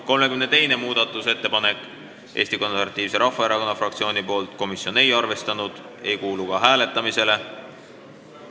32. muudatusettepanek on Eesti Konservatiivse Rahvaerakonna fraktsioonilt, komisjon ei ole arvestanud, see ei kuulu ka hääletamisele.